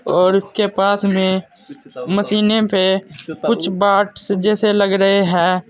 और इसके पास में मशीनें पे कुछ बांट्स जैसे लग रहे हैं।